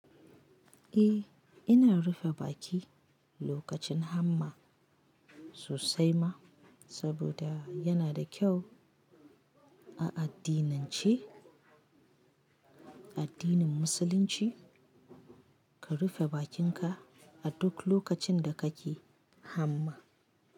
Eh, ina rufe baki lokacin hamma sosai ma, saboda yana da kyau a addinance, addinin musulunci ka rufe bakinka a duk lokacin da kake hamma.